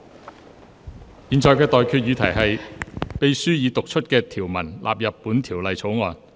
我現在向各位提出的待決議題是：秘書已讀出的條文納入本條例草案。